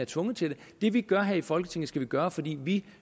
tvunget til det det vi gør her i folketinget skal vi gøre fordi vi